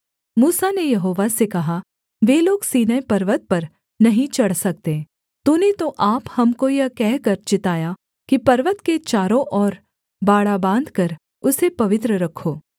मूसा ने यहोवा से कहा वे लोग सीनै पर्वत पर नहीं चढ़ सकते तूने तो आप हमको यह कहकर चिताया कि पर्वत के चारों और बाड़ा बाँधकर उसे पवित्र रखो